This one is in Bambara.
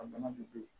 A bana de be yen